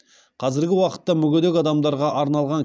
қазіргі уақытта мүгедек адамдарға арналған